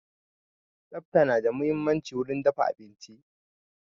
Tsafta na da muhimmanci wurin dafa abinci.